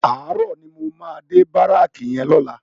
Àárò ni mó má dé báráki yèn lòlá